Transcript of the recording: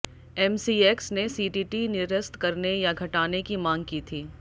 MCX ने CTT निरस्त करने या घटाने की मांग की थी